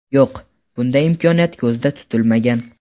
Yo‘q, bunday imkoniyat ko‘zda tutilmagan.